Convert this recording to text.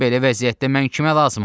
Belə vəziyyətdə mən kimə lazımam?